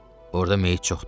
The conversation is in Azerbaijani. Orda meyyit çoxdur.